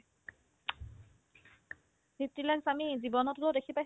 sixty lakh আমি জীৱনতো দেখি পাইছো